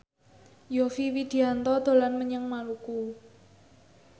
Yovie Widianto dolan menyang Maluku